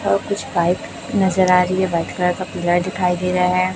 और कुछ पाइप नजर आ रही है व्हाइट कलर का पिलर दिखाई दे रहा है।